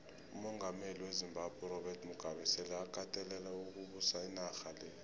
umongameli wezimbabwe urobert mugabe sele akatelele ukubusa inarha leya